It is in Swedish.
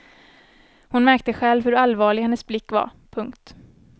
Hon märkte själv hur allvarlig hennes blick var. punkt